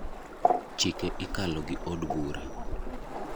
chike ikalo gi od bura.